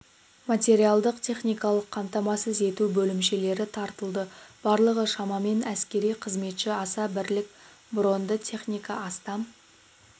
материалдық-техникалық қамтамасыз ету бөлімшелері тартылды барлығы шамамен әскери қызметші аса бірлік броньды техника астам